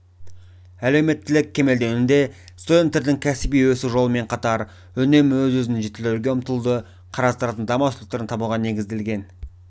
әлеуметтілік кемелденуде студенттердің кәсіби өсу жолымен қатар үнемі өзін-өзі жетілдіруге ұмтылуды қарастыратын даму аспектілерін табуға негізделген